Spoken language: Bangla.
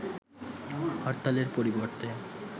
হরতালের পরিবর্তে